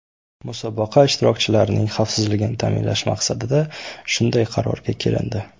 Musobaqa ishtirokchilarining xavfsizligini ta’minlash maqsadida shunday qarorga kelindi.